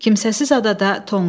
Kimsəsiz adada tonqal.